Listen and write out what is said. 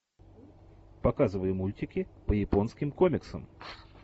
показывай мультики по японским комиксам